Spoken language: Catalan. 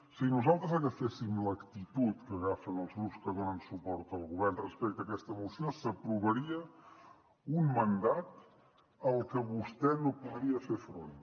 si nosaltres agaféssim l’actitud que agafen els grups que donen suport al govern respecte a aquesta moció s’aprovaria un mandat al que vostè no podria fer front